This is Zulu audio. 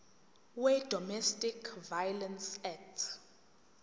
wedomestic violence act